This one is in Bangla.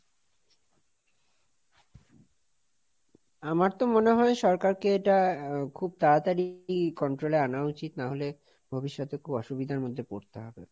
আমার তো মনে হয় সরকারকে এটা খুব তাড়াতাড়ি control এ আনা উচিত, নাহলে ভবিষ্যতে খুব অসুবিধার মধ্যে পড়তে হবে।